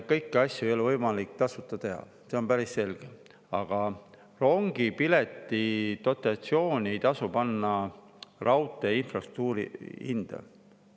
Kõiki asju ei ole võimalik tasuta teha, see on päris selge, aga rongipileti dotatsiooni ei tasu panna raudtee infrastruktuuri hinda.